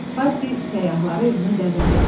Paddi səyahları evinə dəvət etdi.